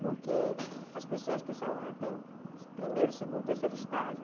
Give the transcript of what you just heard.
Porque as pessoas que são têm primeiro, segundo e terceiro estágio.